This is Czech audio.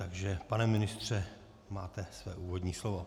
Takže pane ministře, máte své úvodní slovo.